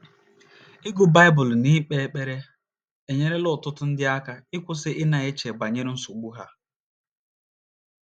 Ịgụ Baịbụl na ikpe ekpere enyerela ọtụtụ ndị aka ịkwụsị ịna -- eche banyere nsogbu ha.